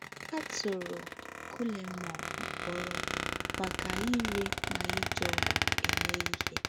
A tụrụ Guillermo mkpọrọ maka ire ma iji ọgwụ eme ihe.